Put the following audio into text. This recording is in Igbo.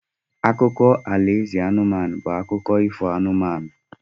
Akụkọ alaeze anụmanụ bụ akụkụ ifo anụmanụ.